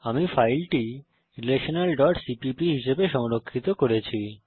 আমি ফাইলটি relationalসিপিপি হিসাবে সংরক্ষিত করেছি